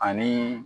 Ani